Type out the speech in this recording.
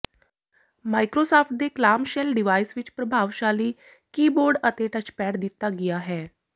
Microsoft ਦੇ clamshell device ਵਿੱਚ ਪ੍ਰਭਾਵਸ਼ਾਲੀ ਕੀਬੋਰਡ ਅਤੇ ਟੱਚਪੈਡ ਦਿੱਤਾ ਗਿਆ ਹੈ